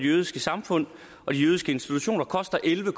jødiske samfund og de jødiske institutioner koster elleve